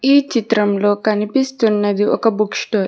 ఈ చిత్రంలో కనిపిస్తున్నది ఒక బుక్ స్టోర్